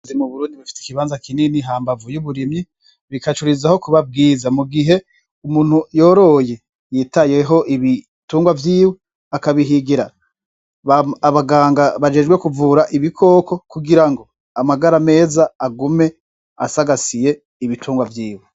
Ubworozi mu Burundi bufise ikibanza kinini hambavu y'uburimyi ,bikarushirizaho kuba bwiza mugihe umuntu yororye yitayeho ibitungwa vyiwe akabihigira abaganga bajejwe kuvura ibikoko kugira ngo amagara meza agume asagasiye ibitungwa vyiwe